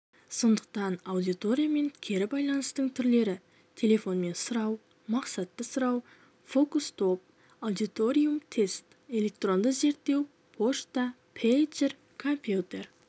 сондықтан аудиториямен кері байланыстың түрлері телефонмен сұрау мақсатты сұрау фокус-топ аудиториум-тест электронды зерттеу пошта пейджер компьютер